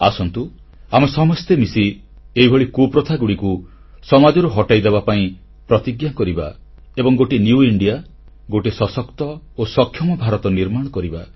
ଆସନ୍ତୁ ଆମେ ସମସ୍ତେ ମିଶି ଏଭଳି କୁସଂସ୍କାରଗୁଡ଼ିକୁ ସମାଜରୁ ହଟାଇ ଦେବାପାଇଁ ପ୍ରତିଜ୍ଞା କରିବା ଏବଂ ଗୋଟିଏ ନ୍ୟୁ ଇଣ୍ଡିଆ ବା ନୂଆ ଭାରତ ଗୋଟିଏ ସଶକ୍ତ ଓ ସକ୍ଷମ ଭାରତ ନିର୍ମାଣ କରିବା